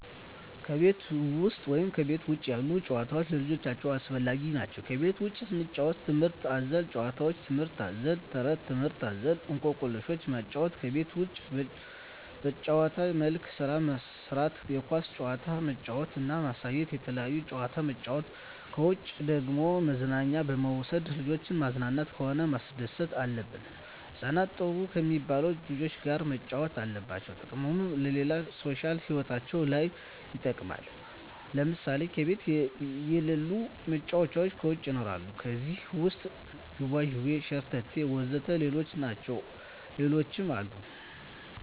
ከቤት ውሰጥ ወይም ከቤት ውጭ ያሉ ጭዋታዎች ለልጆቻቸው አስፈላጊ ነው ከቤት ውስጥ ስንጫወት ትምህርት አዘል ጫውውቶች ትምህርት አዘል ተረቶች ትምህርት አዘል እኮክልሾችን ማጫወት ከቤት ውስጥ በጭዋታ መልክ ስራ ማሰራት የኳስ ጭዋታ ማጫወት እና ማሳየት የተለያየ ጭዋታ ማጫወት ነው ከውጭ ደግሞ መዝናኛ በመውሰድ ልጆችን ማዝናናት ሆነ ማስደሰት አለብን ህጻናትን ጥሩ ከሜባሉ ልጆች ጋር ማጫወት አለብን ጥቅሙም ለሌላ ሦሻል ህይወታቸው ለይ ይጠቅማል ለምሳሌ ከቤት የለሉ መጫወቻ ከውጭ ይኖራሉ ከዜህ ውሰጥ ጅዋጅዌ ሸረተቴ ወዘተ ሌሎችም አሉ